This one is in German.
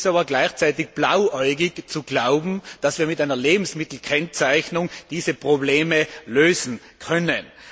Es ist aber gleichzeitig blauäugig zu glauben, dass wir mit einer Lebensmittelkennzeichnung diese Probleme lösen können.